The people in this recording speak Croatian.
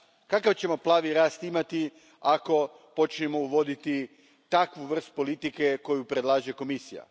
Kakav ćemo plavi rast imati ako počnemo uvoditi takvu vrstu politike koju predlaže Komisija?